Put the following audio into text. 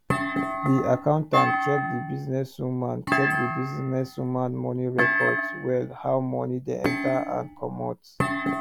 di accountant check the businesswoman check the businesswoman money records well how money dey enter and commot